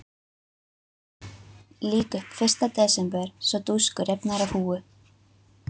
Lýk upp fyrsta desember svo dúskur rifnar af húfu.